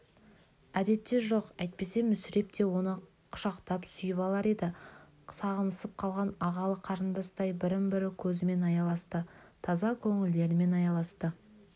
әдетте жоқ әйтпесе мүсіреп те оны құшақтап сүйіп алар еді сағынысып қалған ағалы-қарындастай бірін-бірі көзімен аяласты таза көңілдерімен аяласты